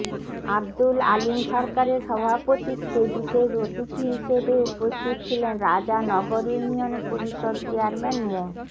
আব্দুল আলীম সরকারের সভাপতিত্বে বিশেষ অতিথি হিসেবে উপস্থিত ছিলেন রাজা নগর ইউনিয়ন পরিষদ চেয়ারম্যান মো